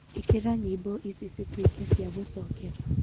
ikira nyimbo ici citueke cia gwicokera